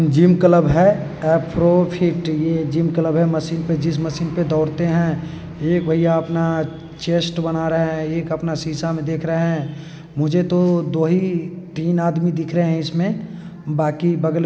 gym club है | F pro fit gym club है machine पे जिस मशीन पर दौड़ते हैं | यह एक भैया अपना चेस्ट बना रहे हैं एक अपना शीशा में देख रहे हैं | मुझे तो दो ही तीन आदमी दिख रहा है इसमें बाकी बगल--